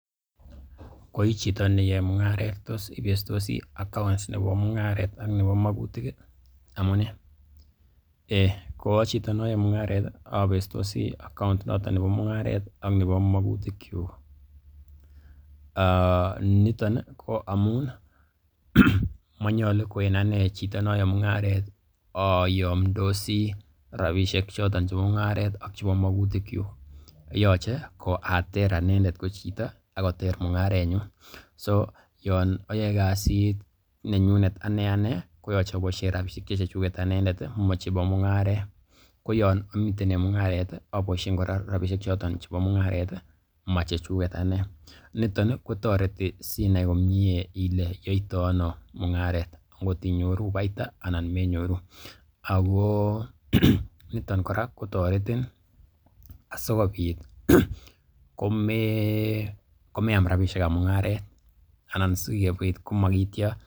Ko i chito ne yae mung'aret, tos ibestosi account nebo mung'aret ak nebo magutiguk ii? Amune? Eiy ko a chito ne oyoe mung'aret abestosi account noton nebo mung'aret ak nebo magutikyuk. Niton ko amun manyolu ko en anee chito ne aye mungaret ayomdosi rabishek choton chebo mung'aret ak chebo magutikyuk. Yoche ko ater anendet ko chito ak koter mung'arenyun. So yon ayoe kasit nenyunet ane ane koyoche aboishen rabishek che chechuget ane amachebo mung'aret ko yon amiten en mung'aret, aboishen kora rabishek choton chebo mung'aret i,, machechuget ane. NIton i, kotoreti sinai komye ile yoito ano mung'aret angot inyoru faida anan menyoru ago niton kora kotoretin asikobit komeam rabishek ab mung'aret anan sikobit ko magityo.